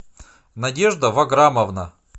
надежда ваграмовна